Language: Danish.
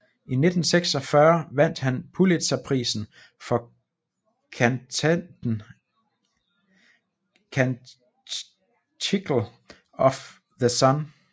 I 1946 vandt han Pulitzerprisen for kantaten Canticle of the Sun